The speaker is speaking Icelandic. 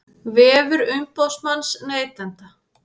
Vefur umboðsmanns neytenda